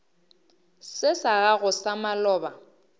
se sa gago sa maloba